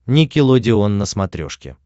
никелодеон на смотрешке